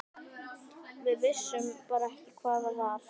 Við vissum bara ekki hvað það var.